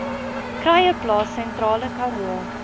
kruieplaas sentrale karoo